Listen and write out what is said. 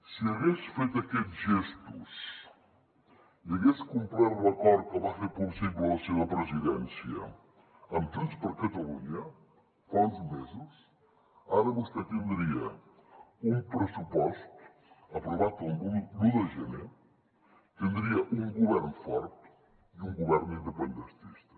si hagués fet aquests gestos i hagués complert l’acord que va fer possible la seva presidència amb junts per catalunya fa uns mesos ara vostè tindria un pressupost aprovat l’un de gener tindria un govern fort i un govern independentista